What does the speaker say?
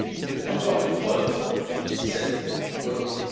était encore une preuve de cette volonté.